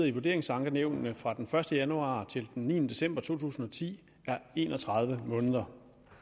i vurderingsankenævnene fra den første januar til den niende december to tusind og ti er en og tredive måneder